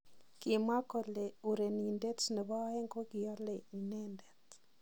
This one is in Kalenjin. Kimwaa kole urenindet nebo aeng kokialei inendet.